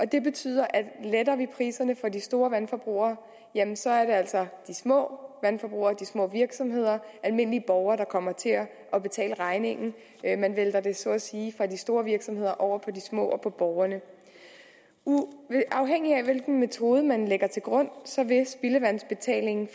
det betyder at letter vi priserne for de store vandforbrugere jamen så er det altså de små vandforbrugere de små virksomheder og almindelige borgere der kommer til at betale regningen man vælter det så at sige fra de store virksomheder over på de små og borgerne afhængigt af hvilken metode man lægger til grund